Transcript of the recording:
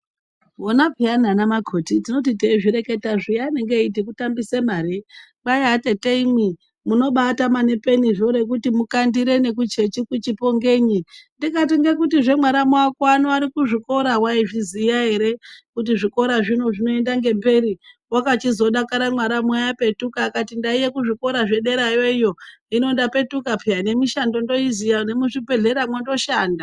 Vona pheyana vana makhoti tinoti teizvireketa zviya vanenge veiti kutambisa mari. Kwai atetemwi munobaatama nepeni rekuti mukandire nekuchechi kuchipo ngenyi. Ndikati ngekutizve mwaramu ako ano ari kuzvikora waizviziya ere kuti zvikora zvino zvinoenda ngemberi . Wakachizodakara mwaramu ano apetuka akati ndainge kuzvikora zvederayo hino ndapetuka pheyani, nemishando ndoiziya , nemuzvibhedhleramwo ndoshanda